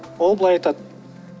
ол былай айтады